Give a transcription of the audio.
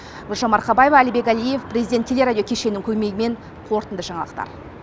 гүлжан марқабаева әлібек әлиев президент телерадио кешенінің көмегімен қорытынды жаңалықтар